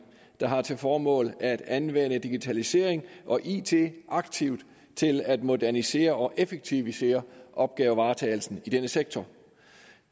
der har til formål at anvende digitalisering og it aktivt til at modernisere og effektivisere opgavevaretagelsen i denne sektor